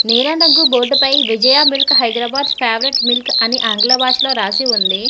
నీలం రంగు బోర్డుపై Vijaya milk Hyderabad favourite milk అని ఆంగ్ల భాషలో రాసి ఉంది.